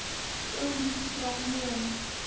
eo ho fihlwang ho yona